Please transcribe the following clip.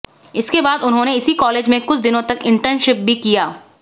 इसके बाद उन्होंने इसी कॉलेज में कुछ दिनों तक इंटर्नशिप भी किया